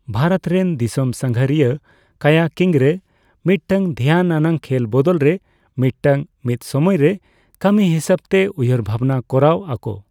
ᱵᱷᱟᱨᱚᱛ ᱨᱮᱱ ᱫᱤᱥᱚᱢ ᱥᱟᱹᱜᱷᱟᱹᱨᱤᱭᱟᱹ ᱠᱟᱭᱟᱠᱤᱝ ᱨᱮ ᱢᱤᱫᱴᱟᱝ ᱫᱷᱮᱭᱟᱱ ᱟᱱᱟᱜ ᱠᱷᱮᱞ ᱵᱚᱫᱚᱞ ᱨᱮ ᱢᱤᱫᱴᱟᱝ ᱢᱤᱫᱥᱚᱢᱚᱭ ᱨᱮ ᱠᱟᱹᱢᱤ ᱦᱤᱥᱟᱹᱵᱛᱮ ᱩᱭᱦᱟᱹᱨ ᱵᱷᱟᱵᱽᱱᱟ ᱠᱚᱨᱟᱣ ᱟᱠᱚ ᱾